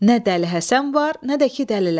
Nə dəli Həsən var, nə də ki, dəlilər.